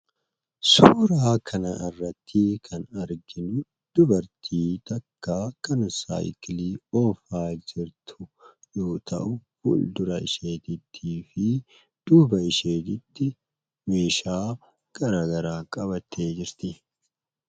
Suuraa kana irratti kan arginu, dubartii takka kan saayikilii oofaa jirtu yoo ta'u, fuuldura isheetiifi duuba isheetitti meeshaa garagaraa qabttee jirti.